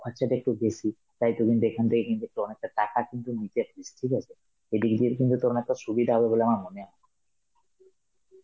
খরচাটা একটু বেশি, তাই তোকে এখান থেকে কিন্তু অনেকটা টাকা কিন্তু নিতে , ঠিক আছে? এই কিন্তু তোর সুবিধা হবে বলে আমার মনে হয়.